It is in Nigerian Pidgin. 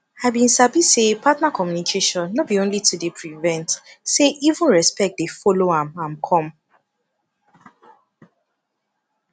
i been sabi say partner communication no be only to dey prevent say even respect dey follow am am come